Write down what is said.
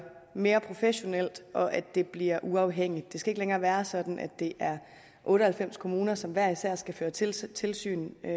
mere professionelt og at det bliver uafhængigt det skal ikke længere være sådan at det er otte og halvfems kommuner som hver især skal føre tilsyn tilsyn men